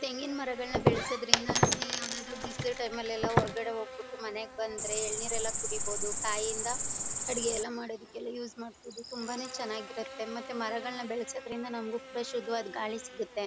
ತೆಂಗಿನ ಮರಗಳನ್ನ ಬೆಳೆಸೋದ್ರಿಂದ ನಮಗೆ ಯಾವುದಾದರು ಬಿಸಿಲು ಟೈಮ್ ಲ್ಲೆಲ್ಲ ಹೊರಗಡೆ ಹೋಗ್ಬಿಟ್ಟು ಮನೆಗೆ ಬಂದ್ರೆ ಎಲ್ನಿಇರು ಎಲ್ಲ ಕುಡೀಬೋದು. ಕಾಯಿ ಯಿಂದ ಅಡಿಗೆ ಎಲ್ಲ ಮಾಡೋದಕ್ಕೆಲ್ಲ ಯೂಸ್ ಮಾಡಬಹುದು. ತುಂಬಾನೇ ಚೆನ್ನಾಗಿರುತ್ತೆ. ಮತ್ತೆ ಮರಗಳನ್ನ ಬೆಳೆಸೋದ್ರಿಂದ ನಮಗೂ ಕೂಡ ಶುದ್ಧವಾದ ಗಾಳಿ ಸಿಗುತ್ತೆ.